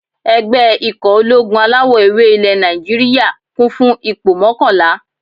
Ẹgbẹ́ ikọ̀ ológun alawọ̀-ewé ilẹ̀ Nàìjíríyà, kún fún ipò mọ́kànlá